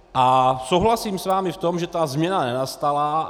A souhlasím s vámi v tom, že ta změna nenastala.